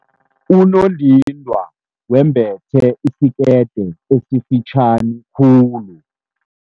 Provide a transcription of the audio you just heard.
Unondindwa wembethe isikete esifitjhani khulu.